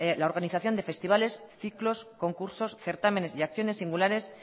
la organización de festivales ciclos concursos certámenes y acciones singulares